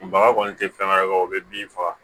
Baga kɔni tɛ fɛn wɛrɛ ka o bɛ bin faga